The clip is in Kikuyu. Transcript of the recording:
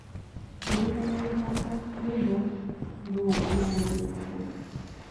ndĩrĩkanĩa guthaka rwĩmbo rũũũmũthĩũtũkũ